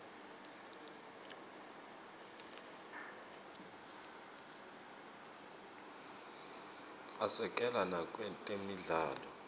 asekela nakwetemidlalo